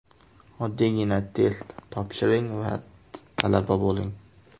Oddiygina test topshiring va talaba bo‘ling!